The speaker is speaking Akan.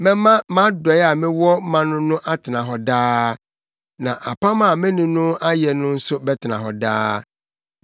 Mɛma mʼadɔe a mewɔ ma no no atena hɔ daa, na apam a me ne no ayɛ nso bɛtena hɔ daa.